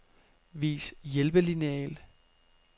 Vis hjælpelineal.